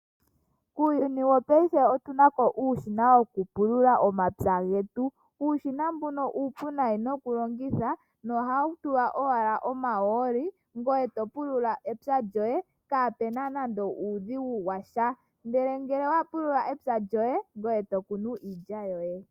Muuyuni wopaife otu na mo uushina wokupulula omapya getu. Uushina mbuka uupu lela okulongitha, nohau tulwa owala omahooli, ngoye to pulula epya lyoye kaape na nando uudhigu washa. Ngele owa pulula epya lyoye, ngoye to kunu iilya yoye.